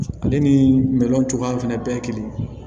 Ale ni cogoya fɛnɛ bɛɛ ye kelen ye